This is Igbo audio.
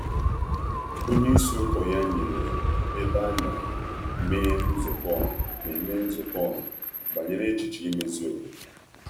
Onye ụkọchukwu ya nyere ohere maka nzukọ ọha iji kparịta echiche mmepe ógbè.